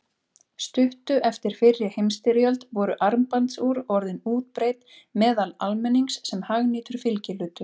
Stuttu eftir fyrri heimsstyrjöld voru armbandsúr orðin útbreidd meðal almennings sem hagnýtur fylgihlutur.